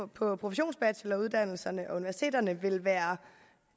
på professionsbacheloruddannelserne og universiteterne vil være